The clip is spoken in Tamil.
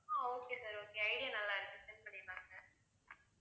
ஆஹ் okay sir okay, idea நல்லா இருக்கு set பண்ணிடலாம் sir